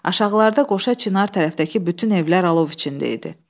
Aşağıda qoşa çinar tərəfdəki bütün evlər alov içində idi.